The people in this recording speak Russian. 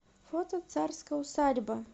фото царская усадьба